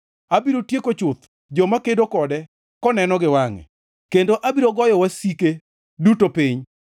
Abiro tieko chuth joma kedo kode koneno gi wangʼe, kendo abiro goyo wasike duto piny.